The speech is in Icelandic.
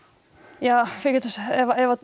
ja við getum sagt ef